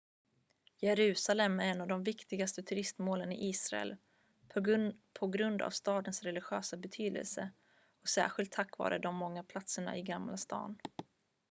jerusalem är ett av de viktigaste turistmålen i israel på grund av stadens religiösa betydelse och särskilt tack vare de många platserna i gamla stan